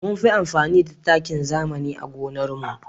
Munfi amfani da takin zamani a gonar mu